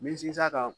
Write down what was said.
Me sinsin a kan